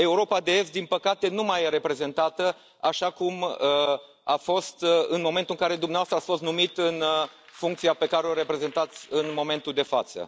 Europa de Est, din păcate, nu mai este reprezentată așa cum a fost în momentul în care dumneavoastră ați fost numit în funcția pe care o reprezentați în momentul de față.